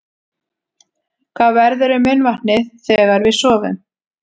Hvað verður um munnvatnið þegar við sofum?